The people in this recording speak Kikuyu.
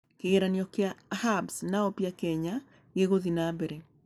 Kĩgeranio kĩa Hub's na Oppia Kenya gĩgũthiĩ na mbere